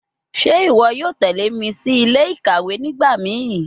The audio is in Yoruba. Ṣe iwọ yoo tẹle mi si ile-ikawe nigbamii?